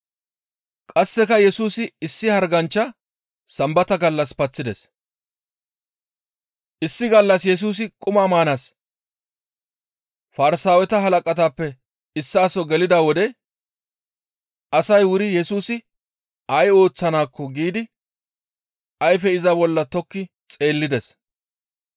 Issi gallas Yesusi quma maanaas Farsaaweta halaqatappe issaa soo gelida wode asay wuri Yesusi ay ooththanaakko giidi ayfe iza bolla tokki xeellides.